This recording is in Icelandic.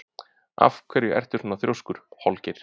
Af hverju ertu svona þrjóskur, Holgeir?